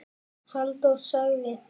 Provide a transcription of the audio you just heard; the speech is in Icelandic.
Halldór sagði